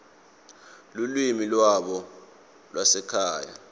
lulwimi lwabo lwasekhaya